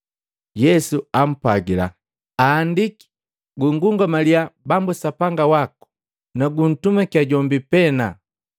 Yesu ampwagila, “Aandiki, ‘Gungungamalya Bambu Sapanga waku, nukuntumaki jombi pena.’ ”